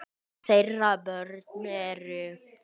Þeirra börn eru.